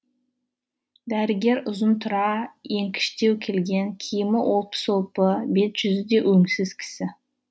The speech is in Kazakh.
дәрігер ұзынтұра еңкіштеу келген киімі олпы солпы бет жүзі де өңсіз кісі